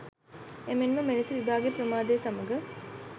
එමෙන්ම මෙලෙස විභාගය ප්‍රමාදය සමග